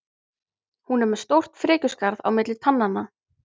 Hún er með stórt frekjuskarð á milli tannanna.